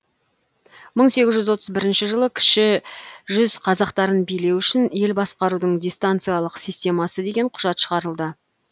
мың сегіз жүз отылз бірінші жылы кіші жүз қазақтарын билеу үшін ел басқарудың дистанциялық системасы деген құжат шығарылды